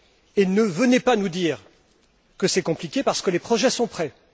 Et ne venez pas nous dire que c'est compliqué, parce que les projets sont prêts.